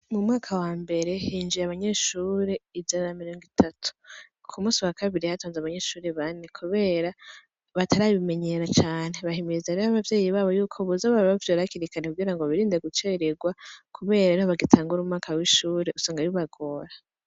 Mu mwaka wa mbere, hinjiye abanyeshure ijana na mirongo itatu. Ku musi wa kabiri hatonze abanyeshure bane kubera batarabimenyera cane. Bahimiriza rero abavyeyi babo yuko boza barabavyura hakiri kare kugira ngo birinde gucererwa, kubera bagitangura umwaka w'ishure, usanga bibagora.